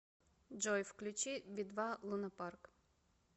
джой включи би два лунапарк